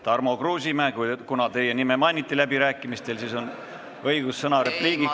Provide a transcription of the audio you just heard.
Tarmo Kruusimäe, kuna teie nime mainiti läbirääkimistel, siis on teil õigus repliik öelda.